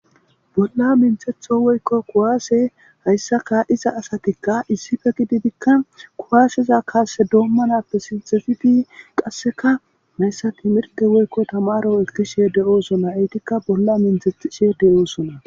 Bolla minthetho woyko kuwase haysa ka'iza asatika issippe gididika kuwaseza Kase domanappe sinthid qaseka haysa timrte woyko tamaro ootho othishe de'osona. Etika bolla minthethishe de'osona.